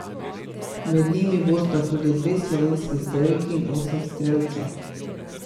Med njimi bosta tudi dve slovenski strelki in osem strelcev.